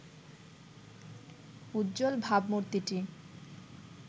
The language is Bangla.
উজ্জ্বল ভাবমূর্তিটি